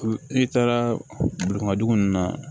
N'i taara dugu ninnu na